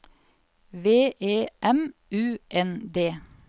V E M U N D